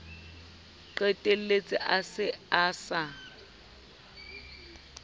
qetelletse a se a sa